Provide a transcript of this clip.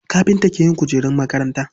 Kafinta ke yin kujerun makaranta.